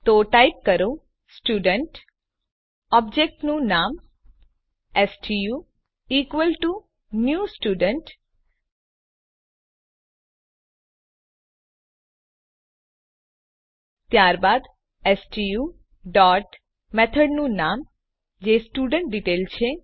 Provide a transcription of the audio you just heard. તો ટાઈપ કરો સ્ટુડન્ટ ઓબ્જેક્ટનું નામ stu equal to new student ત્યારબાદ સ્ટુ ડોટ મેથડનું નામ જે સ્ટુડેન્ટડિટેઇલ છે